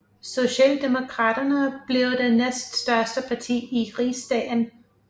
Socialdemokraterne blev det næststørste parti i rigsdagen